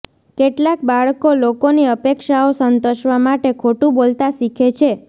કેટલાંક બાળકો લોકોની અપેક્ષાઓ સંતોષવા માટે ખોટું બોલતા શીખે છે